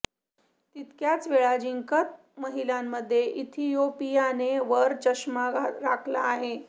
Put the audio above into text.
तितक्याच वेळा जिंकत महिलांमध्ये इथियोपियाने वरचष्मा राखला आहे